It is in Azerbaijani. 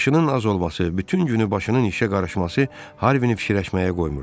Yaşının az olması, bütün günü başının işə qarışması Harvini fikirləşməyə qoymurdu.